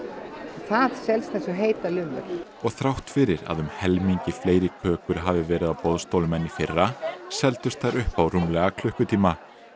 það selst eins og heitar lummur og þrátt fyrir að um helmingi fleiri kökur hafi verið á boðstólum en í fyrra seldust þær upp á rúmlega klukkutíma